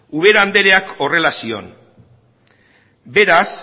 ubera andereak horrela zioen beraz